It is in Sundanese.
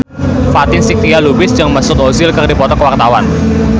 Fatin Shidqia Lubis jeung Mesut Ozil keur dipoto ku wartawan